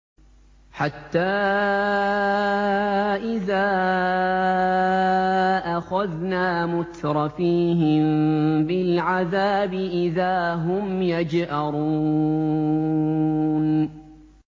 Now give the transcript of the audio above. حَتَّىٰ إِذَا أَخَذْنَا مُتْرَفِيهِم بِالْعَذَابِ إِذَا هُمْ يَجْأَرُونَ